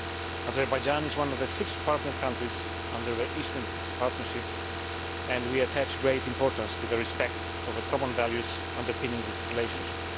Azerbaijan is one of the six partner countries under the Eastern Partnership, and we attach great importance to respect for the common values underpinning this relationship.